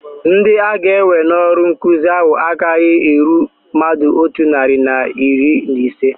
Ndị aga-ewe n'ọrụ nkụzi ahu agaghị eru mmadụ otu narị na iri na ise